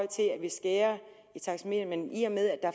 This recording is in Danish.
til at vi skærer i taxameteret men i og med at